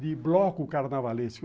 de bloco carnavalesco.